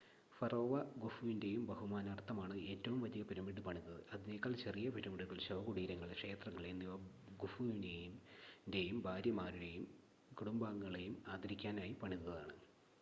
ഫറോവ ഖുഫുവിൻ്റെ ബഹുമാനാർത്ഥമാണ് ഏറ്റവും വലിയ പിരമിഡ് പണിതത് അതിനേക്കാൾ ചെറിയ പിരമിഡുകൾ ശവകുടീരങ്ങൾ ക്ഷേത്രങ്ങൾ എന്നിവ ഖുഫുവിൻ്റെ ഭാര്യമാരെയും കുടുംബാംഗങ്ങളെയും ആദരിക്കാനായി പണിതതാണ്